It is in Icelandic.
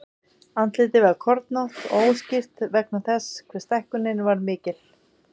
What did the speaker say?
Andlitið var kornótt og óskýrt vegna þess hve stækkunin var mikil.